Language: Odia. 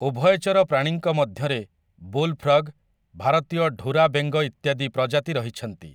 ଉଭୟଚର ପ୍ରାଣୀଙ୍କ ମଧ୍ୟରେ ବୁଲ୍‌ ଫ୍ରଗ, ଭାରତୀୟ ଢୁରା ବେଙ୍ଗ ଇତ୍ୟାଦି ପ୍ରଜାତି ରହିଛନ୍ତି ।